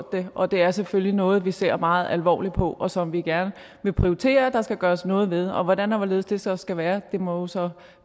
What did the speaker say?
det og det er selvfølgelig noget vi ser meget alvorligt på og som vi gerne vil prioritere at der skal gøres noget ved hvordan og hvorledes det så skal være må jo så